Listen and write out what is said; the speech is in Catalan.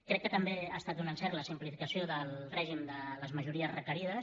crec que també ha estat un encert la simplificació del règim de les majories requerides